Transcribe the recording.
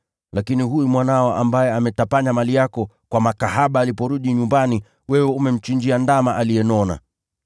Lakini huyu mwanao ambaye ametapanya mali yako kwa makahaba aliporudi nyumbani, wewe umemchinjia ndama aliyenona!’